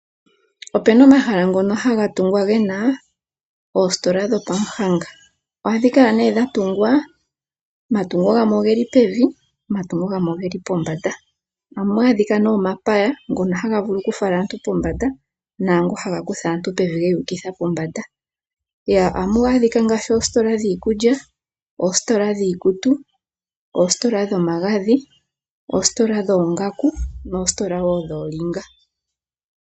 Opena omahala ngono haga tungwa gena oositola dhopamuhanga. Ohadhi kala nee dhatungwa, omatungo gamwe ogeli pevi omatungo gamwe ogeli pombanda. Ohamu adhika nee omapaya ngono haga vulu kufala aantu pombanda naangono haga kutha aantu pevi yeyu ukitha pombanda. Ohamu adhika ngaashi oositola dhiikulya, oositola dhiikutu, oositola dhomagadhi, oositola dhoongaku noositola wo dhoolinga.